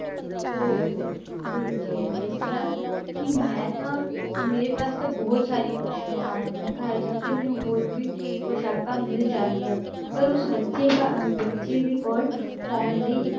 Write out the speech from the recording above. ਤੇ ਫਿਰ ਗੁਰੂ ਜੀ ਨੇ ਦੱਸਿਆ ਕਿ ਮੈਂ ਤਾਂ ਮੇਰੇ ਪਾਸ ਤਾਂ ਬਹੁਤ ਸਾਰੀਆਂ ਪੁਸਾਕਾਂ ਹਨ, ਮੈਂ ਘਰ ਜਾ ਕੇ ਮੈਨੂੰ ਹੋਰ ਵੀ ਪੁਸਾਕਾਂ ਮਿਲ ਜਾਣਗੀਆਂ ਪਰ ਉਸ ਬੱਚੇ ਦਾ ਬੱਚੇ ਦੇ ਕੋਲ ਪਾਉਣ ਲਈ